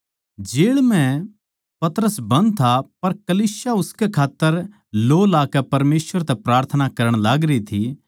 जेळ म्ह पतरस बन्द था पर कलीसिया उसकै खात्तर लौ लाकै परमेसवर तै प्रार्थना करण लागरी थी